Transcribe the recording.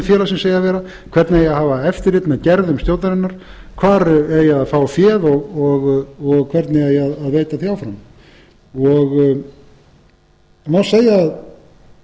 hvernig eigi að hafa eftirlit með gerðum stjórnarinnar hvar eigi að fá féð og hvernig eigi að veita því áfram má segja að